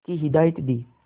की हिदायत दी